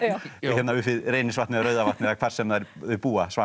upp við Reynisvatn eða Rauðavatn eða hvar sem þau búa